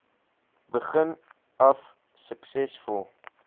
begin af suksesvol